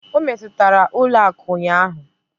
O metụtara ụlọ akụ ụnyaahụ?